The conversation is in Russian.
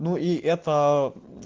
ну и это